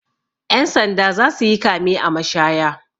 Ƴan sanda za su yi kame a mashaya.